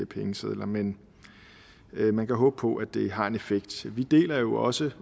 pengesedler men man kan håbe på at det har en effekt vi deler jo også